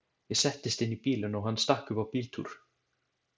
Ég settist inn í bílinn og hann stakk upp á bíltúr.